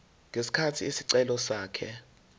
ngesikhathi isicelo sakhe